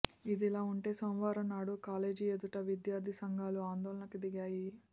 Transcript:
ఇదిలా ఉంటే సోమవారం నాడు కాలేజీ ఎదుట విద్యార్ధి సంఘాలు ఆందోళనకు దిగాయి